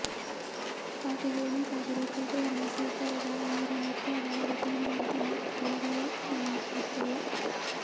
ಹಾಗೆ ಹೇಳುವುದಾದರೆ ಬೌದ್ಧಧರ್ಮ ಸ್ವೀಕಾರದ ಅವರ ನಿರ್ಧಾರ ಅವರ ಜೀವನದ ಅಂತಿಮ ಘಳಿಗೆಂುುದ್ದಲ್ಲ